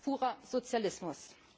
Das ist purer Sozialismus.